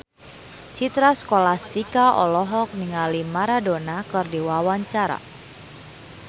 Citra Scholastika olohok ningali Maradona keur diwawancara